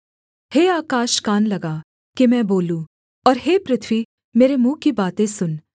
हे आकाश कान लगा कि मैं बोलूँ और हे पृथ्वी मेरे मुँह की बातें सुन